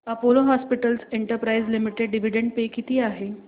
Apollo hospitals enterprise limited dividend pay किती आहे